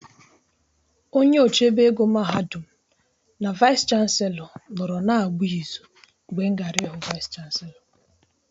Onye ochebe ego mahadum na vaịs chanselọ nọrọ na-agba ịzụ mgbe m gara ịhụ vaịs chanselọ.